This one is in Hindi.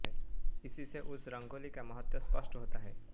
इसीसे उस रंगोली का महत्त्व स्पष्ट होता है